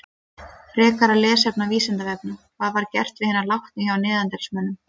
Frekara lesefni á Vísindavefnum: Hvað var gert við hina látnu hjá neanderdalsmönnum?